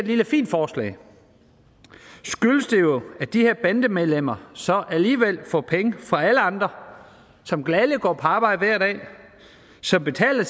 lille fint forslag skyldes det jo at de her bandemedlemmer så alligevel får penge fra alle andre som gladelig går på arbejde hver dag som betaler